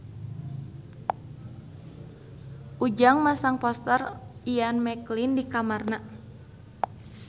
Ujang masang poster Ian McKellen di kamarna